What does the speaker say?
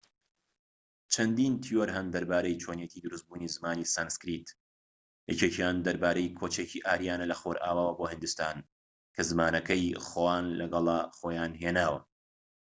چەندین تیۆر هەن دەربارەی چۆنیەتی دروست بوونی زمانی سانسکریت یەکێکیان دەربارەی کۆچێکی ئاریانە لە خۆرئاواوە بۆ هیندستان کە زمانەکەی خۆان لەگەڵە خۆیان هێناوە